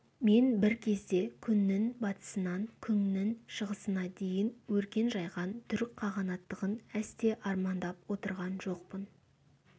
мен бір кезде күннің батысынан күннің шығысына дейін өркен жайған түрік қағанаттығын әсте армандап отырған жоқпын